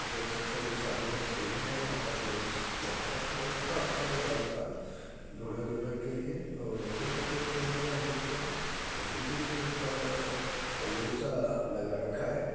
देख सकते है ये शादी का स्टेज है यहाँ पर एक सोफ़ा रखा हुआ है। थोड़ा अच्छा सजा रखा है दूल्हा-दुल्हन के लिए और फूल पत्तियाँ भी लगी रही हैं आगे की तरफ और पीछे की तरफ इतना बड़ा सा लगा रखा है।